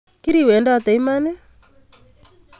Kiriwedote iman?